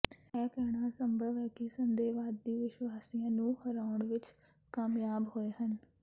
ਇਹ ਕਹਿਣਾ ਅਸੰਭਵ ਹੈ ਕਿ ਸੰਦੇਹਵਾਦੀ ਵਿਸ਼ਵਾਸੀਆਂ ਨੂੰ ਹਰਾਉਣ ਵਿੱਚ ਕਾਮਯਾਬ ਹੋਏ ਹਨ